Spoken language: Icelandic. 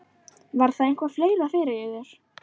Var það eitthvað fleira fyrir yður?